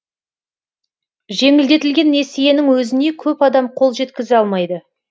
жеңілдетілген несиенің өзіне көп адам қол жеткізе алмайды